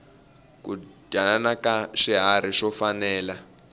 ku dyanana ka swiharhi swo fanela